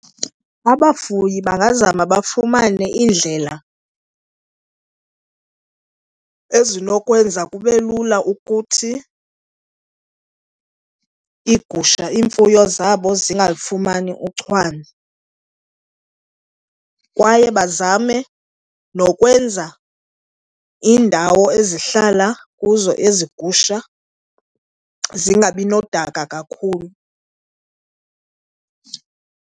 Abafuyi bangazama bafumane iindlela ezinokwenza kube lula ukuthi iigusha, iimfuyo zabo zingalifumani uchwane kwaye bazame nokwenza iindawo ezihlala kuzo ezi gusha zingabi nodaka kakhulu.